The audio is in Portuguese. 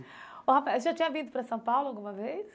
Ô Rafael, você já tinha vindo para São Paulo alguma vez?